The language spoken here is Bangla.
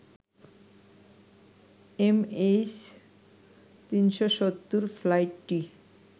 এমএইচ ৩৭০ ফ্লাইটটি